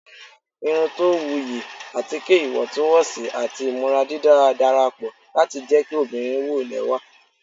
irun to wuyi, atike iwọntunwọnsi ati imura didara darapọ lati jẹ ki obinrin wo lẹwa